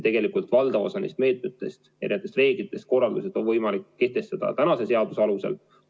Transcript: Tegelikult on valdav osa nendest meetmetest ja nendest reeglitest ja need korraldused võimalik kehtestada tänase seaduse alusel.